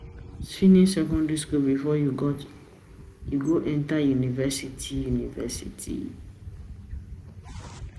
You must finish secondary skool before you go enta university.